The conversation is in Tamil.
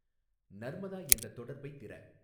நர்மதா என்ற தொடர்பைத் திற